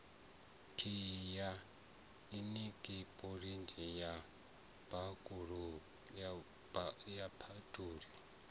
khiyi ya inikiripushini ya phabuliki